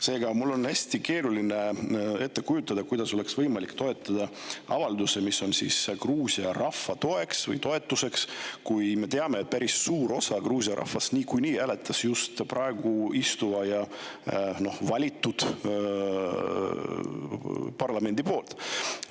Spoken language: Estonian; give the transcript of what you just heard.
Seega, mul on hästi keeruline ette kujutada, kuidas oleks võimalik toetada avaldust Gruusia rahva toetuseks, kui me teame, et päris suur osa Gruusia rahvast hääletas just praeguse presidendi ja valitud parlamendi poolt.